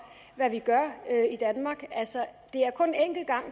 hvad vi gør i danmark altså